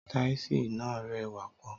Tàísì nà rẹ wà pọ.